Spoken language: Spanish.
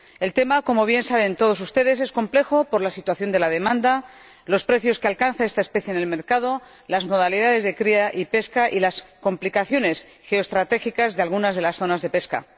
El tema, como bien saben todos ustedes, es complejo por la situación de la demanda, los precios que alcanza esta especie en el mercado, las modalidades de cría y pesca y las complicaciones geoestratégicas de algunas de las zonas de pesca.